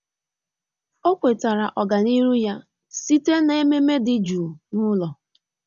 Ọ́ kwétárà ọ́gànihu ya site n’ememe dị́ jụụ n’ụ́lọ́.